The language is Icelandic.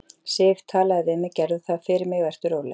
Sif. talaðu við mig. gerðu það fyrir mig, vertu róleg.